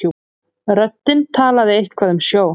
Röddin talaði eitthvað um sjó.